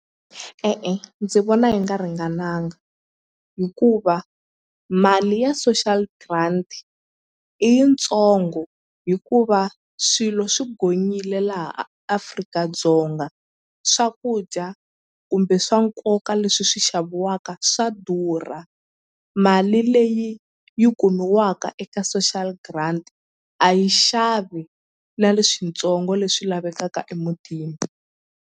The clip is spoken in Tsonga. E-e ndzi vona yi nga ringananga hikuva mali ya social grant i yitsongo hikuva swilo swi gonyile laha Afrika-Dzonga swakudya kumbe swa nkoka leswi swi xaviwaka swa durha mali leyi yi kumiwaka eka social grant a yi xavi na leswitsongo leswi lavekaka emutini.